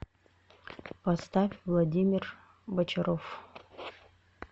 поставь владимир бочаров